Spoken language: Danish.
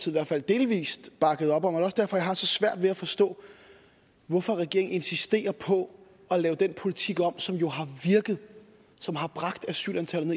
i hvert fald delvis bakkede op om det er også derfor jeg har så svært ved at forstå hvorfor regeringen insisterer på at lave den politik om som jo har virket som har bragt asylantallet